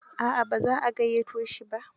A'a ba za a gayyato shi ba.